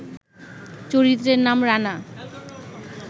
চরিত্রের নাম ‘রানা’